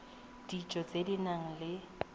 dijo tse di nang le